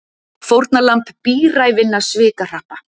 Fórnarlamb bíræfinna svikahrappa